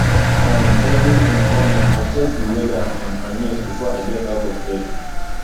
um every um morning i check di weather um and news before i get out of bed